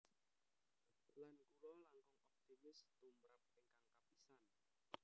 Lan kula langkung optimis tumrap ingkang kapisan